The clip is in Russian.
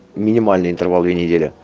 минимальный интервал две недели